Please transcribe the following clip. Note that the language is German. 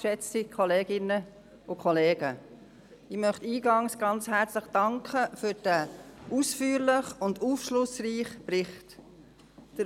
Ich möchte eingangs ganz herzlich für diesen ausführlichen und aufschlussreichen Bericht danken.